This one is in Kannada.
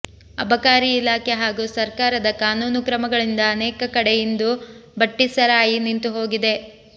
ಅಬಕಾರಿ ಇಲಾಖೆ ಹಾಗೂ ಸರ್ಕಾರದ ಕಾನೂನುಕ್ರಮಗಳಿಂದ ಅನೇಕ ಕಡೆ ಇಂದು ಭಟ್ಟಿಸರಾಯಿ ನಿಂತುಹೋಗಿದೆ